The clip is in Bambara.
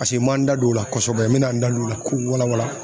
Paseke n man n da don o la kɔsɔbɛ n mɛ na n da don o la k'o wala wala.